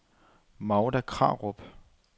Magda Krarup